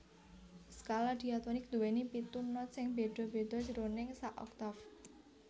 Skala diatonik nduwèni pitu not sing béda béda jroning sak oktaf